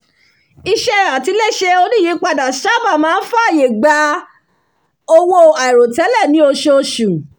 ìṣe àtiléṣe oníìyípadà sáábà máa ń fàyè gba owó àìròtẹ́lẹ̀ ní oṣooṣù